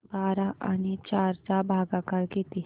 बारा आणि चार चा भागाकर किती